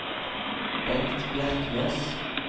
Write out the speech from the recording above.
Bengt Bjerknes